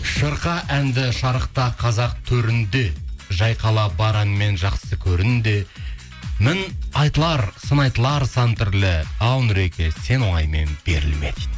шырқа әнді шарықта қазақ төрінде жайқала бар әніңмен жақсы көрін де мін айтылар сын айтылар сан түрлі ау нұреке сен оңаймен берілме дейді